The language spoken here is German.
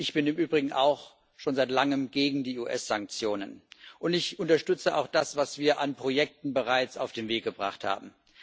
Ich bin im Übrigen auch schon seit langem gegen die US Sanktionen, und ich unterstütze auch das, was wir an Projekten bereits auf den Weg gebracht haben.